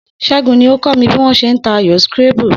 S̩é̩gun ni ó kó̩ mi bí wó̩n s̩e ń ta ayò scrabble